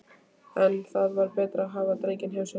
En það var betra að hafa drenginn hjá sér.